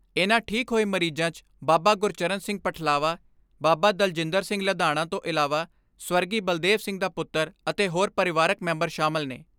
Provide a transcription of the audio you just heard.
ਇਨ੍ਹਾਂ ਠੀਕ ਹੋਏ ਮਰੀਜ਼ਾਂ 'ਚ ਬਾਬਾ ਗੁਰਚਰਨ ਸਿੰਘ ਪਠਲਾਵਾ, ਬਾਬਾ ਦਲਜਿੰਦਰ ਸਿੰਘ ਲਧਾਣਾ ਤੋਂ ਇਲਾਵਾਂ, ਸਵਰਗੀ ਬਲਦੇਵ ਸਿੰਘ ਦਾ ਪੁੱਤਰ ਅਤੇ ਹੋਰ ਪਰਿਵਾਰਕ ਮੈਂਬਰ ਸ਼ਾਮਲ ਨੇ।